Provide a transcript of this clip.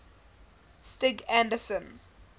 stig anderson